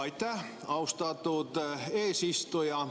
Aitäh, austatud eesistuja!